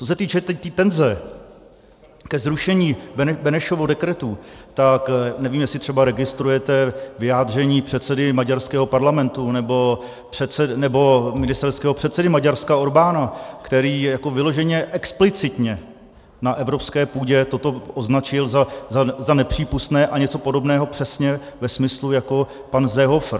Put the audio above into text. Co se týče té tenze ke zrušení Benešových dekretů, tak nevím, jestli třeba registrujete vyjádření předsedy maďarského parlamentu nebo ministerského předsedy Maďarska Orbána, který jako vyloženě explicitně na evropské půdě toto označil za nepřípustné a něco podobného přesně ve smyslu jako pan Seehofer.